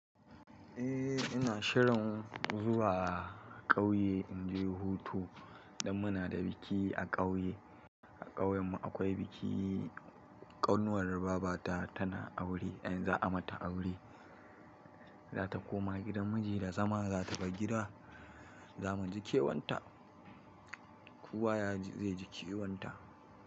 Eh ina shirin zuwa ƙauye in je hutu, dan muna da biki a ƙauye. A ƙauyen mu akwai biki, ƙanuwar babata tana aure, anyi za a mata aure, za ta koma gidan miji da zama, za ta bar gida, zamu ji kewan ta, kowa zai ji kewan ta.